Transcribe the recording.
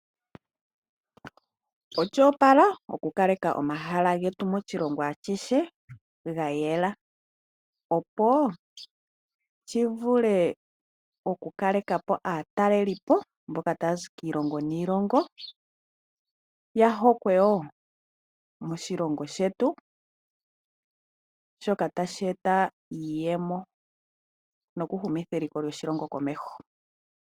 Osho opala oku kaleka omahala getu moshilongo ashihe gayela opo shivulu okukalekapo aatalelipo mboka tayazi kiilongo niilongo ya pande woo moshilongo shetu shoka tashi eta iiyemo nokuhumitha eliko lyoshilongo komeho.